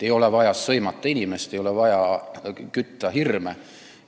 Ei ole vaja inimest sõimata, ei ole vaja hirme üles kütta.